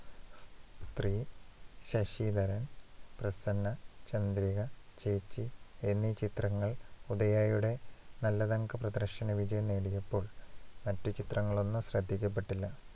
സ്ത്രീ, ശശിധരൻ, പ്രസന്ന, ചന്ദ്രിക, ചേച്ചി എന്നീ ചിത്രങ്ങളിൽ ഉദയായുടെ നല്ലതങ്ക പ്രദർശനവിജയം നേടിയപ്പോൾ മറ്റുചിത്രങ്ങളൊന്നും ശ്രദ്ധിക്കപ്പെട്ടില്ല.